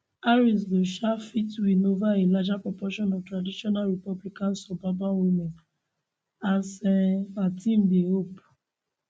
harris go um fit win ova a larger proportion of traditional republican suburban women as um her team dey hope